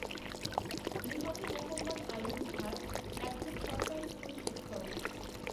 নিহত মহম্মদ আয়ুব ভাট এক জন সরকারি স্কুলশিক্ষক